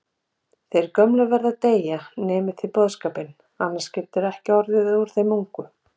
Þeir gömlu verða að deyja, nemið þið boðskapinn, annars getur ekkert orðið úr þeim ungu